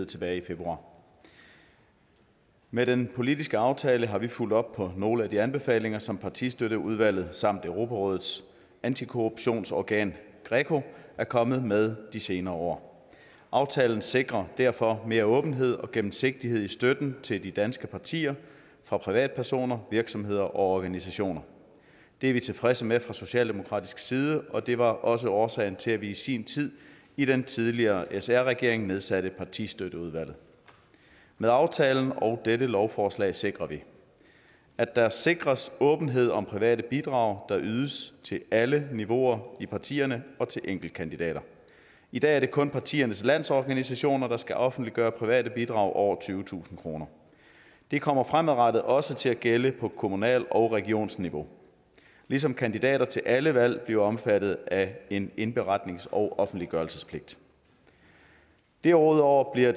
tilbage i februar med den politiske aftale har vi fulgt op på nogle af de anbefalinger som partistøtteudvalget samt europarådets antikorruptionsorgan greco er kommet med de senere år aftalen sikrer derfor mere åbenhed og gennemsigtighed i støtten til de danske partier fra privatpersoner virksomheder og organisationer det er vi tilfredse med fra socialdemokratisk side og det var også årsagen til at vi i sin tid i den tidligere sr regering nedsatte partistøtteudvalget med aftalen og dette lovforslag sikrer vi at der sikres åbenhed om private bidrag der ydes til alle niveauer i partierne og til enkeltkandidater i dag er det kun partiernes landsorganisationer der skal offentliggøre private bidrag over tyvetusind kroner det kommer fremadrettet også til at gælde på kommunalt og regionsniveau ligesom kandidater til alle valg bliver omfattet af en indberetnings og offentliggørelsespligt derudover bliver